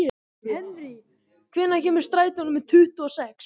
Henrý, hvenær kemur strætó númer tuttugu og sex?